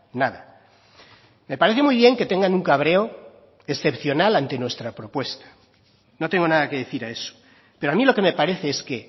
nada me parece muy bien que tengan un cabreo excepcional ante nuestra propuesta no tengo nada que decir a eso pero a mí lo que me parece es que